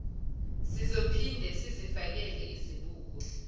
sizophinde sizifakele izibuko